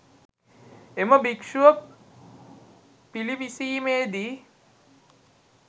එම භික්ෂුව පිළිවිසීමේදී